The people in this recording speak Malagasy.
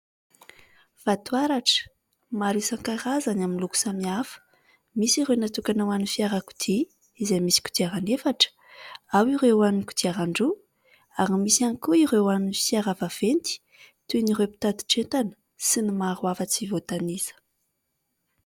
Vato haratra maro isan-karazany amin'ny loko samihafa : misy ireo natokana ho an'ny fiarakodia izay misy kodiarana efatra, ao ireo ho an'ny kodiaran-droa ary misy ihany koa ireo an'ny fiara vaventy toa an'ireo mpitatitr'entana sy ny maro hafa tsy voatanisa.